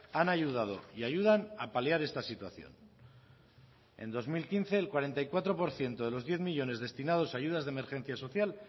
han ayudado y ayudan a paliar esta situación en dos mil quince el cuarenta y cuatro por ciento de los diez millónes destinados a ayudas de emergencia social